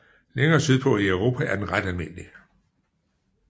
Længere sydpå i Europa er den ret almindelig